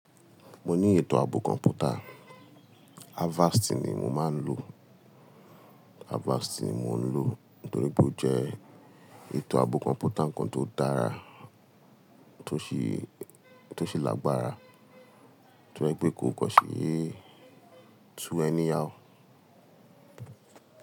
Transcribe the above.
Mo ní ètò ààbò kọ̀m̀pútà. Avast ni mo máa ń lò. Avast ni mò ń lò nítorí pé ó jẹ́ ètò ààbò kọ̀m̀pútà kan tó dára, tó ṣe, tó ṣe lágbára, tó jẹ́ pé kò kàn ṣèé tú any how.